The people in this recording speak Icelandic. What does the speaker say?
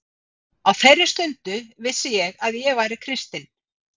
Á þeirri stundu vissi ég að ég væri kristinn.